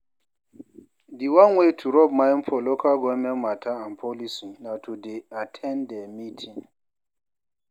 Di one wey to rub mind for local government matter and policy na to dey at ten d their meeting